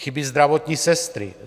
Chybějí zdravotní sestry.